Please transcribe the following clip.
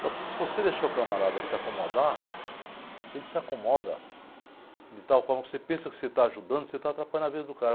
Só que se você deixar o camarada se acomodar, ele se acomoda de tal forma que você pensa que você está ajudando, você está atrapalhando a vida do cara.